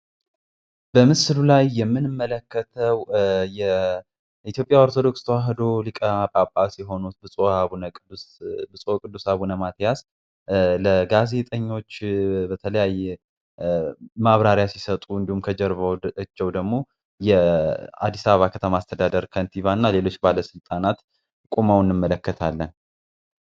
በምስሉ ላይ የምንመለከተው የኢትዮጵያ ኦርቶዶክስ ተዋህዶ ሊቀ ጳጳስ የሆኑት ብጹዕ አቡነ ቅዱስ አቡነ ማትያስ ለጋዜጠኞች በተለያየ ማብራሪያ ሲሰጡ እንዲሁም ከጀርባቸው ደግሞ የአዲስ አበባ ከተማ አስተዳደር ከንቲባና ሌሎች ባለስልጣናት ቆመውን እንመለከታለን